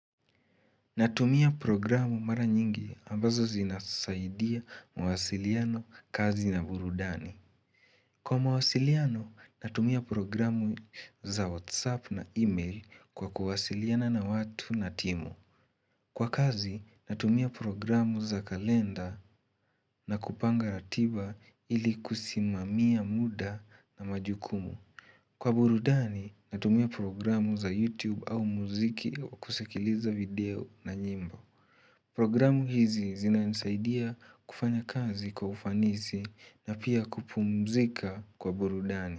Natumia programu mara nyingi ambazo zinasaidia mwasiliano kazi na burudani Kwa mwasiliano natumia programu za whatsapp na email kwa kuwasiliana na watu na timu Kwa kazi natumia programu za kalenda na kupanga ratiba ili kusimamia muda na majukumu Kwa burudani natumia programu za youtube au mziki kusikiliza video na nyimbo Programu hizi zina nisaidia kufanya kazi kwa ufanisi na pia kupumzika kwa burudani.